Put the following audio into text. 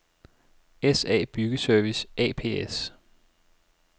SA Byggeservice ApS